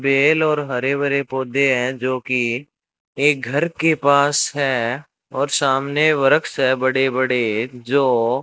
bell और हरे भरे पौधे है जो की एक घर के पास है और सामने वृक्ष है बड़े बड़े जो --